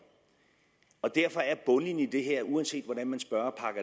og derfor er bundlinjen i det her uanset hvordan man spørger